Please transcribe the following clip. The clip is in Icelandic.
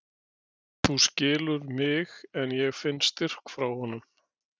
Ég veit að þú skilur mig en ég finn styrk frá honum.